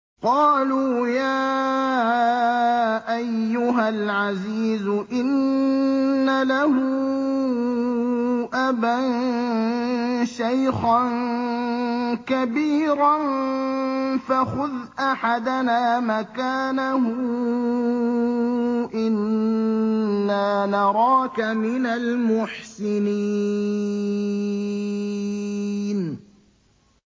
قَالُوا يَا أَيُّهَا الْعَزِيزُ إِنَّ لَهُ أَبًا شَيْخًا كَبِيرًا فَخُذْ أَحَدَنَا مَكَانَهُ ۖ إِنَّا نَرَاكَ مِنَ الْمُحْسِنِينَ